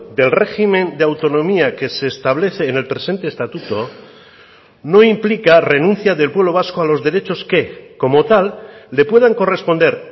del régimen de autonomía que se establece en el presente estatuto no implica renuncia del pueblo vasco a los derechos que como tal le puedan corresponder